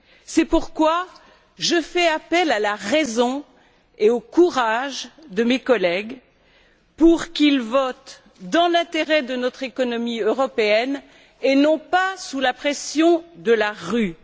C'est pourquoi je fais appel à la raison et au courage de mes collègues pour qu'ils votent dans l'intérêt de notre économie européenne et non pas sous la pression de la rue.